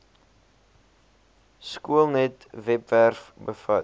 skoolnet webwerf bevat